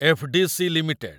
FDC. Limited